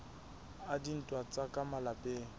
a dintwa tsa ka malapeng